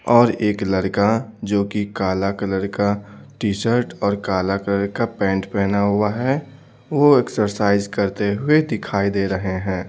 और एक लड़का जो कि काला कलर का टी-शर्ट और काला कलर का पैंट पहना हुआ है वो एक्सरसाइज करते हुए दिखाई दे रहे हैं।